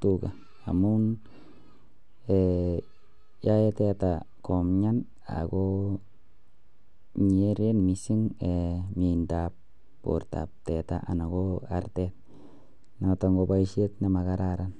tuga amun yae teta komnyan ago kere mising miendab teta anan koartetnoton ko baishet nemakararan